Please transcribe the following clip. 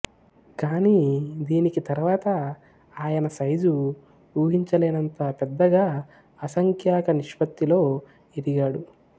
కానీ దీనికి తరువాత ఆయన సైజు ఊహించలేనంత పెద్దగా అసంఖ్యాక నిష్పత్తిలో ఎదిగాడు